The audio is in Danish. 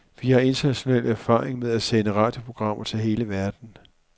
Vi har international erfaring med at sende radioprogrammer til hele verden.